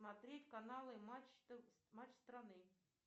смотреть каналы матч страны